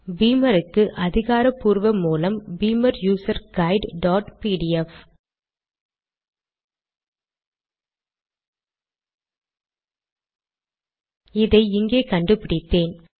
பீமர் க்கு அதிகார பூர்வ மூலம் Beamer user guide dot PDF அதை இங்கே கண்டுபிடித்தேன்